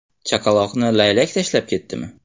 Chaqaloqni laylak tashlab ketdimi?